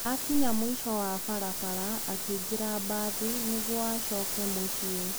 Akinya mũico wa barabara, akĩingĩra mbathi nĩguo acoke mũciĩ.